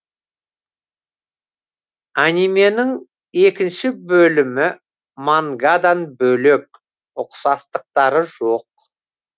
анименің екінші бөлімі мангадан бөлек ұқсастықтары жоқ